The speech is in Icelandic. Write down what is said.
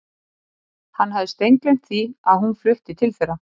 Hann hafði steingleymt því að hún var flutt til þeirra.